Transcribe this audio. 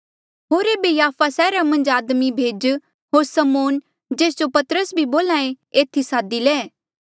होर एेबे याफा सैहरा मन्झ आदमी भेज होर समौन जेस जो पतरस भी बोल्हा ऐें एथी सादी ले